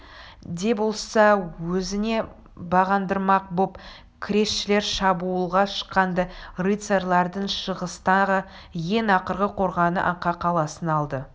де болса өзіне бағындырмақ боп кресшілер шабуылға шыққан-ды рыцарлардың шығыстағы ең ақырғы қорғаны аққа қаласын алды